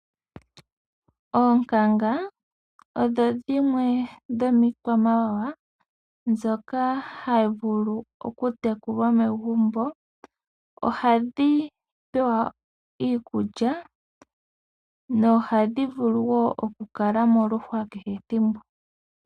Oonkanga odho dhimwe dho miikwamawawa ndhoka hayi tekulwa mo magumbo. Ohadhi pewa iikulya no hadhi vulu wo oku kala moluhwa kehe ethimbo.